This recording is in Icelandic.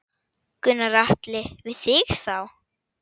Gunnar Atli: Við þig þá?